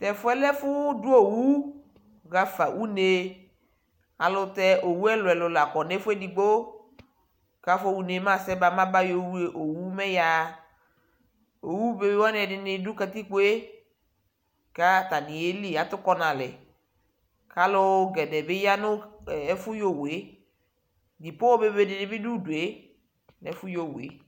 Tɛfu yɛ lɛ ɛfʋ dʋ owʋ yaɣa fa one Ayʋ ɛlʋtɛ owʋ ɛlʋɛlu la kɔ nʋ ɛfʋ edugbo kʋ afɔɣa one mɛ asɛba mɛ abayɔ ew owu mɛ ɛyaɣa